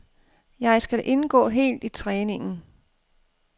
Jeg skal indgå helt i træningen.